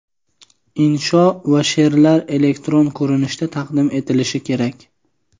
Insho va she’rlar elektron ko‘rinishda taqdim etilishi kerak.